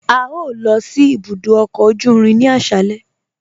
A yọ̀ọ̀ lọ sí ibùdó ọkọ ojú irin ni aṣálẹ̀